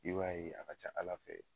I b'a ye, a ka ca ala fɛ